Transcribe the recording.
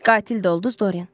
Qatil də olduz, Doryan.